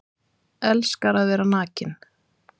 Elskar að vera nakinn